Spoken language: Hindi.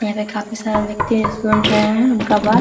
यहां पे काफी सारे व्यक्ति सुन रहे हैं उनका बात।